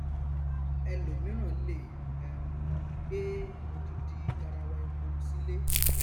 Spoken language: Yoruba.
ẹlòmíràn lè um gbé odindi garawa epo sílé